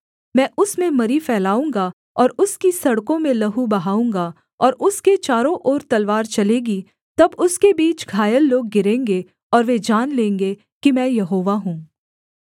मैं उसमें मरी फैलाऊँगा और उसकी सड़कों में लहू बहाऊँगा और उसके चारों ओर तलवार चलेगी तब उसके बीच घायल लोग गिरेंगे और वे जान लेंगे कि मैं यहोवा हूँ